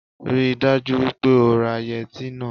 Rí i dájú wípé o ra yẹtí náà